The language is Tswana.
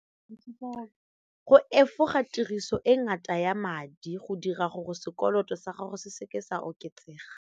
Go efoga tiriso e ngata ya madi go dira gore sekoloto sa gago se seke sa oketsega.